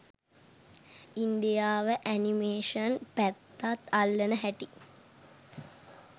ඉංදියාව animation පැත්තත් අල්ලන හැටි